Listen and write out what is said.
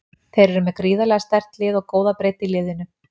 Þeir eru með gríðarlega sterkt lið og góða breidd í liðinu.